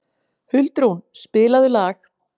Huldrún, spilaðu lag.